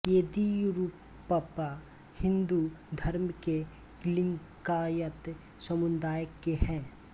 येदियुरप्पा हिंदू धर्म के लिंगायत समुदाय के हैं